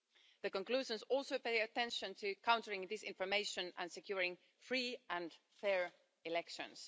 The conclusions also pay attention to countering disinformation and securing free and fair elections.